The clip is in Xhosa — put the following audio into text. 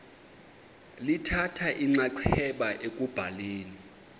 lithatha inxaxheba ekubhaleni